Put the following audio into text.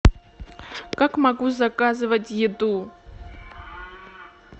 как могу заказывать еду